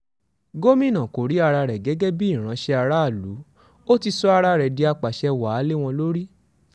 gomina kò rí ara rẹ gẹ́gẹ́ bíi ìránṣẹ́ aráàlú ó ti sọ ara rẹ di àpasẹ̀ wàá lé wọn lórí